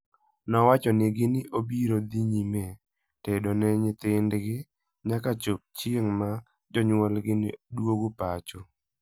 Nowachonegi ni obiro dhi nyime tedo ne nyithindgi nyaka chop chieng' ma jonyuolgi duogo pacho.